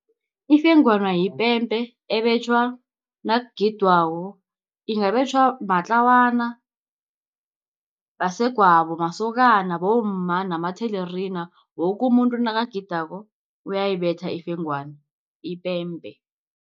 Ifengwana yipempe ebetjhwa nakugidwako ingabetjhwa matlawana, basegwabo, masokana, bomma namathelerina woke umuntu nakagidako uyayibetha ifengwana ipembe.